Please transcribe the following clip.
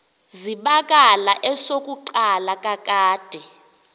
zibakala esokuqala kakade